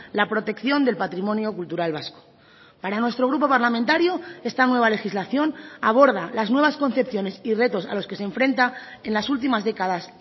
la protección del patrimonio cultural vasco para nuestro grupo parlamentario esta nueva legislación aborda las nuevas concepciones y retos a los que se enfrenta en las últimas décadas